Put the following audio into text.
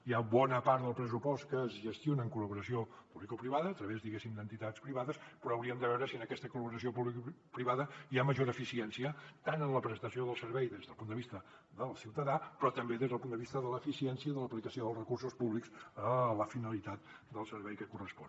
hi ha bona part del pressupost que es gestiona en col·laboració publicoprivada a través diguéssim d’entitats privades però hauríem de veure si en aquesta col·laboració publicoprivada hi ha major eficiència tant en la prestació del servei des del punt de vista del ciutadà però també des del punt de vista de l’eficiència de l’aplicació dels recursos públics a la finalitat del servei que correspon